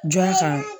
Jɔn fan